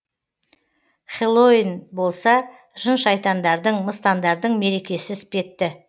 хэллоуин болса жын шайтандардың мыстандардың мерекесі іспетті